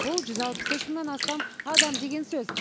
бұл жүз алпыс үш мыңнан астам адам деген сөз